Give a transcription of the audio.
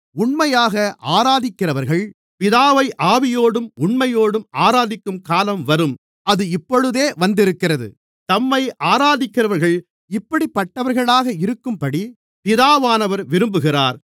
உண்மையாக ஆராதிக்கிறவர்கள் பிதாவை ஆவியோடும் உண்மையோடும் ஆராதிக்கும்காலம் வரும் அது இப்பொழுதே வந்திருக்கிறது தம்மைத் ஆராதிக்கிறவர்கள் இப்படிப்பட்டவர்களாக இருக்கும்படி பிதாவானவர் விரும்புகிறார்